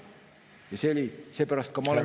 Seepärast ma olen ka isiklikult nende asjade eest vastutav.